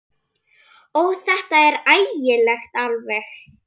Ó, þetta er ægilegt alveg.